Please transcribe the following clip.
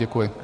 Děkuji.